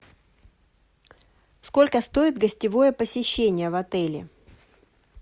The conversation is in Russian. сколько стоит гостевое посещение в отеле